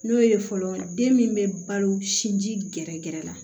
N'o ye fɔlɔ den min bɛ balo sinji gɛrɛ gɛrɛ la